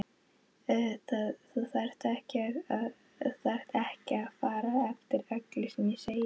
Þú þarft ekki að fara eftir öllu sem ég segi